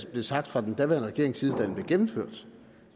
blev sagt fra den daværende regerings side da den blev gennemført